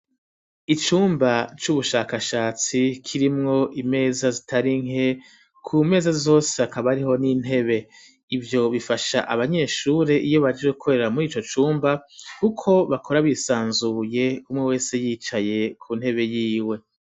Icumba c'ubushakashatsi kirimwo imeza zitari nke ku meza zose hakaba hariho n'intebe ivyo bifasha abanyeshuri iyo baje gukorera murico cumba kuko bakora bisanzuye umwe wese yicaye ku ntebe yiwe